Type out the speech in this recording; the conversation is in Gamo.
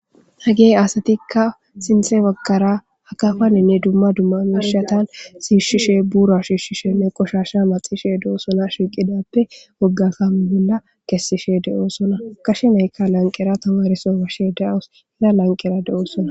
Hege asatika sinte bagara akafaninne duma duma mishatan shishishe bura shishishenne qoshasha madhishe dosona shiqidappe woga kame bola kesishe de'osona gashe nayka lanqera tamare so be'ashe de'awus iza lanqera de'osona.